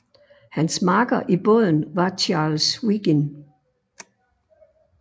Hans makker i båden var Charles Wiggin